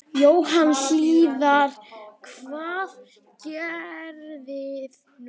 Jóhann Hlíðar: Hvað gerirðu núna?